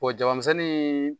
jabamisɛnnin